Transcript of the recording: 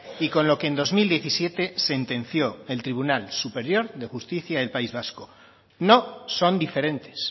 y con lo que en dos mil diecisiete sentenció el tribunal superior de justicia del país vasco no son diferentes